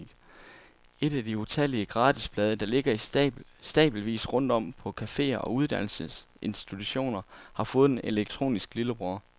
Et af de utallige gratisblade, der ligger i stabelvis rundt om på cafeer og uddannelsesinstitutioner, har fået en elektronisk lillebror.